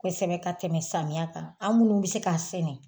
Kosɛbɛ ka tɛmɛ samiyɛ kan an munnu be se k'a sɛnɛ